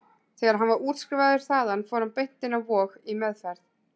Þegar hann var útskrifaður þaðan fór hann beint inn á Vog, í meðferð.